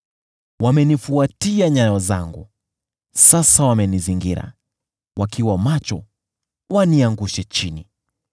Wamenifuatia nyayo zangu, sasa wamenizingira, wakiwa macho, waniangushe chini.